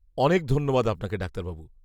অনেক ধন্যবাদ আপনাকে ডাক্তারবাবু।